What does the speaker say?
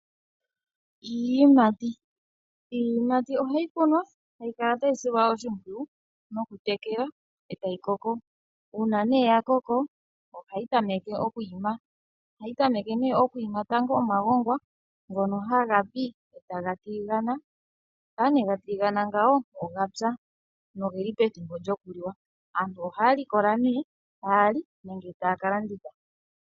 Iiyimati ohayi kunwa tayi kala tayi silwa oshimpwiyu mokutekelwa, e tayi koko. Uuna nee ya koko, ohayi tameke oku ima. Ohayi tameke oku ima tango omagongwa ngono haga pi e taga tiligana. Shampa nee ga tiligana ngawo ogapya nogeli pethimbo lyokuliwa. Aantu ohaya likola nee, taya li nenge taya ka landitha.